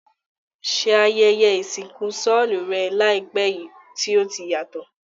Se ayẹyẹ ìsìnkú solú rẹ làìpé yi ti o yàtò?